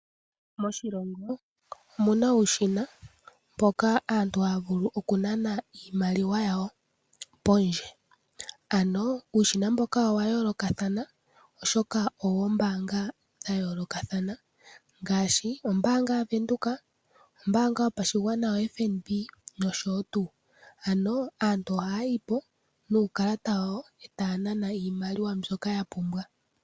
Moshilongo omuna uushina mpoka aantu haya vulu oku nana iimaliwa yawo pondje ano uushina mboka owa yoolokathana oshoka owoombaanga dha yoolokathana ngaashi ombaanga yaVenduka, ombaanga yopashigwana yoFNB nosho tuu. Aantu ohayayi po nuukalata wawo e taya nana iimaliwa mbyoka ya pumbwa.